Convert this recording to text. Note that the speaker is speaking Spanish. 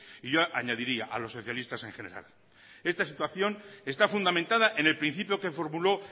y yo añadiría a los socialistas en general esta situación está fundamentada en el principio que formuló